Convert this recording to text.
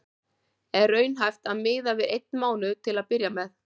Er raunhæft að miða við einn mánuð til að byrja með?